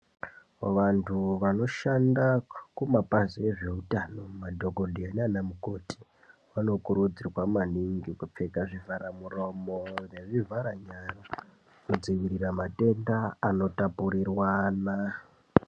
Vantu vanoshanda kumapazi ezveutano, madhogodheya nanamukoti, vanokurudzirwa maningi kupfeka zvivharamuromo nezvivharanyara kudzivirira matenda anotapuriranwa.